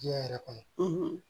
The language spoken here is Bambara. Diɲɛ yɛrɛ kɔnɔ